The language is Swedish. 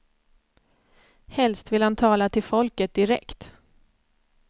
Helst vill han tala till folket direkt.